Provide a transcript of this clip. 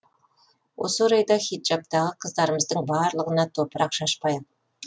осы орайда хиджабтағы қыздарымыздың барлығына топырақ шашпайық